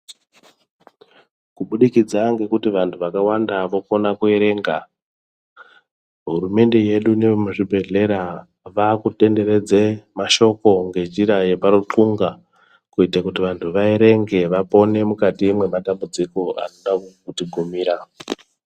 Kubudikidza ngekuti vantu vakawanda vokona kuerenge, hurumende yedu nee muzvibhedhlera vaakutenderedze mashoko ngenjira yeparukunga kuita kuti vanhu vaerenge vaone mukati mwematambudziko akasisa kuti gumira.